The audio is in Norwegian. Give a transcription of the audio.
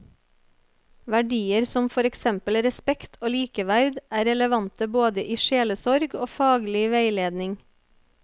Verdier som for eksempel respekt og likeverd er relevante både i sjelesorg og faglig veiledning.